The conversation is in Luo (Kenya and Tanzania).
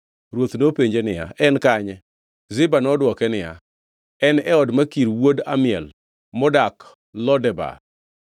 Ruoth nopenjo niya, “En kanye?” Ziba nodwoke niya, “En e od Makir wuod Amiel modak Lo Debar.”